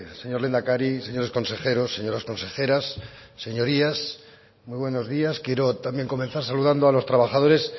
señor lehendakari señores consejeros señoras consejeras señorías muy buenos días quiero también comenzar saludando a los trabajadores